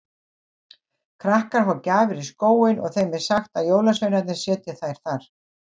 Krakkar fá gjafir í skóinn og þeim er sagt að jólasveinarnir setji þær þar.